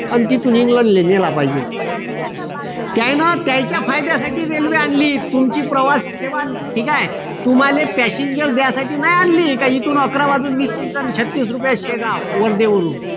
अन तिथून इंग्लंडला नेला पाहिजे त्यांन त्यांच्या फायद्यासाठी रेल्वे आणली तुमची प्रवास सेवा तुम्हाले passenger द्या साठी नाही आणली काय इथून अकरा वाजून वीस मिनिटांनी छत्तीस रुपये seat शेगाव वर्धे वरून